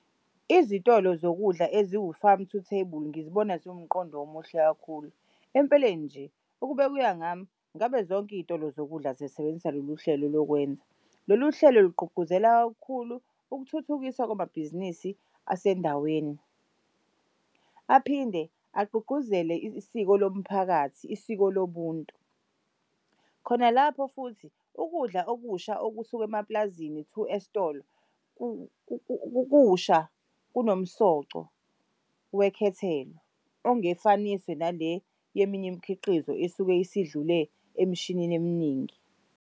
Izitolo zokudla eziwu-farm to table ngizibona ziwumqondo omuhle kakhulu. Empeleni nje ukube kuyangami, ngabe zonke iy'tolo zokudla zisebenzisa lolu hlelo lokwenza. Lolu hlelo lugqugquzela kakhulu ukuthuthukiswa kwamabhizinisi asendaweni. Aphinde agqugquzele isiko lomphakathi, isiko lobuntu. Khona lapho futhi ukudla okusha okusuka emapulazini to esitolo kusha kunomsoco wekhethelo ongefaniswe nale yeminye imikhiqizo esuke isidlule emshinini eminingi.